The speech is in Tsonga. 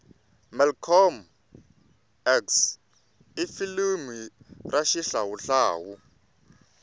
malcolm x ifilimu rashihlawuhlawu